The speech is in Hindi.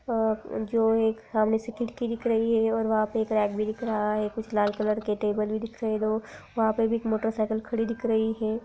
ह जो एक सामने से खिड़की दिख रही है और वहां पे एक रैक भी दिख रहा है कुछ लाल कलर के टेबल भी दिख रहे हैं दो। वहां पर भी एक मोटरसाइकिल खड़ी दिख रही है।